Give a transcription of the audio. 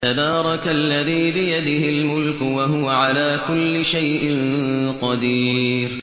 تَبَارَكَ الَّذِي بِيَدِهِ الْمُلْكُ وَهُوَ عَلَىٰ كُلِّ شَيْءٍ قَدِيرٌ